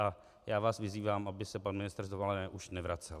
A já vás vyzývám, aby se pan ministr z dovolené už nevracel.